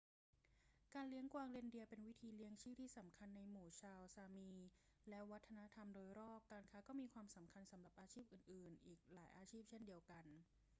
การเลี้ยงกวางเรนเดียร์เป็นวิธีเลี้ยงชีพที่สำคัญในหมู่ชาวซามีและวัฒนธรรมโดยรอบ การค้าก็มีความสำคัญสำหรับอาชีพอื่น ๆ อีกหลายอาชีพเช่นเดียวกัน